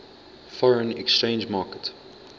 foreign exchange market